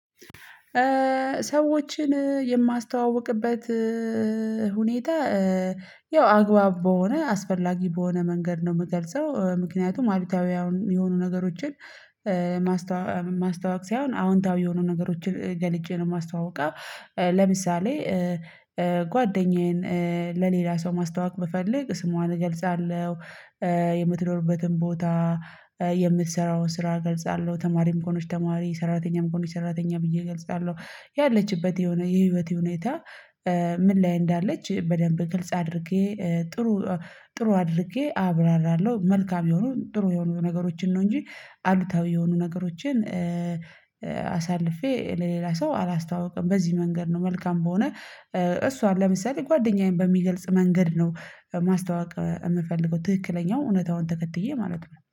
ሰዎችን የማስተዋውቅበት ሁኔታ። ያው አግባብ በሆነ አስፈላጊ በሆነ መንገድ ነው የምገልጸው ምክንያቱም አሉታዊ የሆኑ ነገሮችን ማስተዋወቅ ሳይሆን አዎንታዊ የሆኑ ነገሮችን ገልጬ ነው ማስተዋውቀው። ለምሳሌ። ጓደኛዬን ለሌላ ሰው ማስተዋወቅ ብፈልግ ስሟን እገልጻለሁ። የምትኖርበትን ቦታ የምትሰራውን ስራ እገልጻለሁ ተማሪም ከሆነች ተማሪ ሰራተኛም ከሆነች ሰራተኛ ብየ እገልጻለሁ። ያለችበት የሆነ የህይወቴ ሁኔታ ምን ላይ እንዳለች በደንብ ግልጽ አድርጌ ጥሩ ጥሩ አድርጌ አብራራለሁ። መልካም የሆኑ ጥሩ የሆኑ ነገሮችን ነው እንጂ አሉታዊ የሆኑ ነገሮችን። አሳልፌ ለሌላ ሰው አላስታውቅም። በዚህ መንገድ ነው መልካም በሆነ እሷን ለምሳሌ ጓደኛዬን በሚገልጽ መንገድ ነው። ማስታወቅ የምፈልገው ትክክለኛው እውነታውን ተከትዬ ማለት ነው